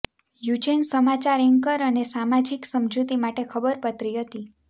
યુજેન સમાચાર એન્કર અને સામાજિક સમજૂતી માટે ખબરપત્રી હતી